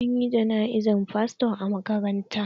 An yi jana'izar fasto a maƙabarta.